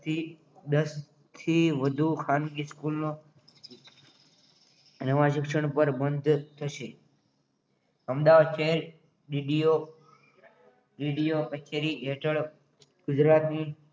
fee દસ વધુ ખાનગી સ્કૂલો એમાં શિક્ષણ બંધ થશે અમદાવાદ થી DDO DDO કચેરી હેઠળ ગુજરાતની